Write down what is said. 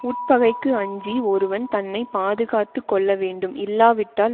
உட்பகைக்கு அஞ்சி ஒருவன் தன்னை பாதுகாத்து கொள்ள வேண்டும் இல்லாவிட்டால்